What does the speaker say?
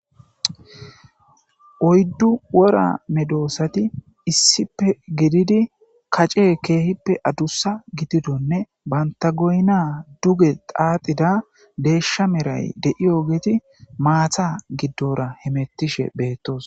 oyddu wora medoosati issippe gididi kace keehippe adusa gitidonne banta goyna duge xaaxida deeshsha meray de7i ogeti maatha giddora hemettishe beettos